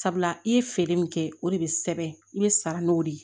sabula i ye feere min kɛ o de bɛ sɛbɛn i bɛ sara n'o de ye